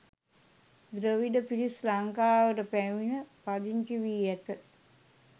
ද්‍රවිඩ පිරිස් ලංකාවට පැමිණ පදිංචි වී ඇත.